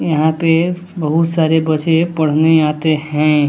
यहां पे बहुत सारे बचे पढ़ने आते हैं।